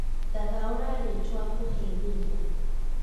thathaũrĩra rĩtwa kũhembarĩa